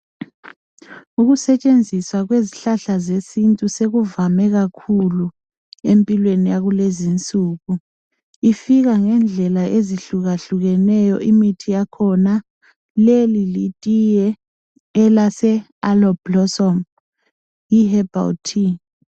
Ukusetshenziswa kwezihlahla zesintu sekuvame kakhulu, empilweni yakulezinsuku. lfika ngendlela ezIhlukahlukeneyo, imithi yakhona. Leli litiye, elaseAloe Blossom. Yiherbal tea.